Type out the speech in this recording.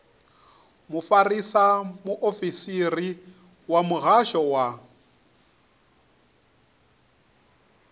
mufarisa muofisiri wa muhasho wa